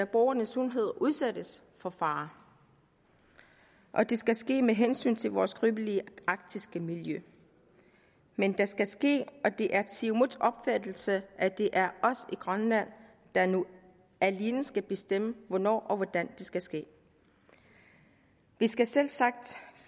borgernes sundhed udsættes for fare og det skal ske med hensyntagen til vores skrøbelige arktiske miljø men det skal ske og det er siumuts opfattelse at det er os i grønland der nu alene skal bestemme hvornår og hvordan det skal ske vi skal selvsagt